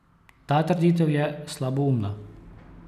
Ta trditev je slaboumna.